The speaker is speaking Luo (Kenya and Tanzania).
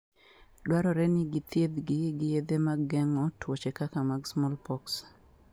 Dwarore ni githiedhgi gi yedhe mag geng'o tuoche kaka mar smallpox.